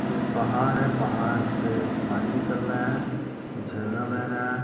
एक पहाड है पहाड से पानी निकल रहा है झरना बह रहा है।